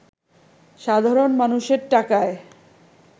সাধারণ মানুষের টাকায়